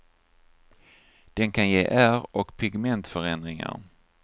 Den kan ge ärr och pigmentförändringar.